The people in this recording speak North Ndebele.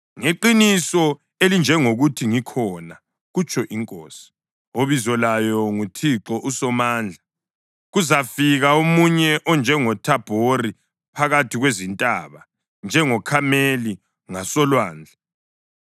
Ngeqiniso elinjengokuthi ngikhona,” kutsho iNkosi, obizo layo nguThixo uSomandla, “kuzafika omunye onjengoThabhori phakathi kwezintaba, njengoKhameli ngasolwandle.